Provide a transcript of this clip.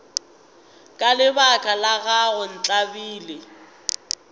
ka lebaka la gago ntlabile